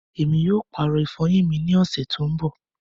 Ẹmi yóò paàrọ ifọyin mi ni oṣẹ to ń bọ̀.